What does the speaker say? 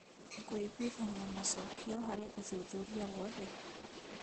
Kũiguithania macokio harĩ ũthuthuria wothe.